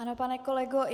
Ano, pane kolego.